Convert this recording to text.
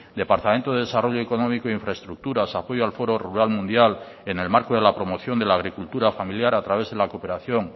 departamento de desarrollo económico e infraestructuras apoyo al foro rural mundial en el marco de la promoción de la agricultura familiar a través de la cooperación